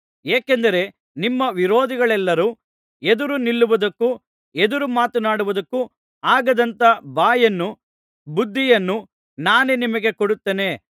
ಏಕೆಂದರೆ ನಿಮ್ಮ ವಿರೋಧಿಗಳೆಲ್ಲರೂ ಎದುರು ನಿಲ್ಲುವುದಕ್ಕೂ ಎದುರು ಮಾತನಾಡುವುದಕ್ಕೂ ಆಗದಂಥ ಬಾಯನ್ನೂ ಬುದ್ಧಿಯನ್ನೂ ನಾನೇ ನಿಮಗೆ ಕೊಡುತ್ತೇನೆ